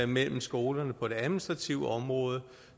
mellem skolerne på det administrative område